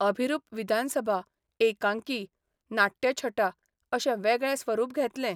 अभिरूप विधानसभा, एकांकी, नाट्यछटा अशें वेगळें स्वरूप घेतलें.